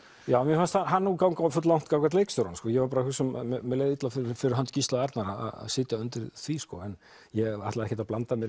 já mér fannst hann ganga fulllangt gagnvart leikstjóranum mér leið illa fyrir hönd Gísla Arnar að sitja undir því en ég ætlaði ekkert að blanda mér